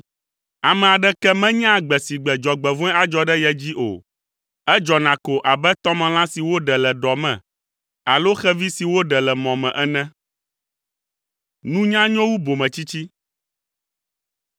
Ame aɖeke menyaa gbe si gbe dzɔgbevɔ̃e adzɔ ɖe ye dzi o. Edzɔna ko abe tɔmelã si woɖe le ɖɔ me alo xevi si woɖe le mɔ me ene.